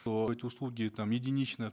то эти услуги там единично